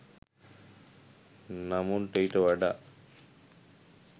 නමුත් ඊට වඩා